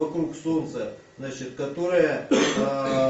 вокруг солнца значит которая